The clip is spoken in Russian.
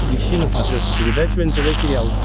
ищи на смотрешке передачу нтв сериал